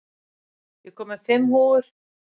Petter, ég kom með fimm húfur!